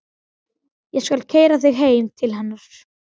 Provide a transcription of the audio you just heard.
Ég skal keyra þig heim til hennar.